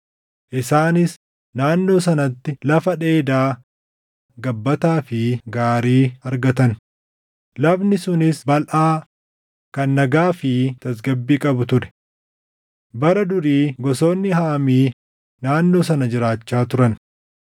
Isaanis naannoo sanatti lafa dheedaa gabbataa fi gaarii argatan; lafni sunis balʼaa, kan nagaa fi tasgabbii qabu ture. Bara durii gosoonni Haamii naannoo sana jiraachaa turan.